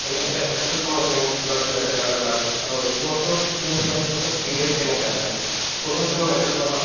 এনে এটা~ এটাতো তোমাৰ rank বা কিবা এটা কাৰণত লাগে আৰু ই sports ত তুমি চোৱা ‌ ই sports ত media ই কেনেকে আছে sports ত তুমি medal পাবা